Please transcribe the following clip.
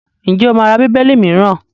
Ǹjẹ́ o máa ra Bíbélì mìíràn?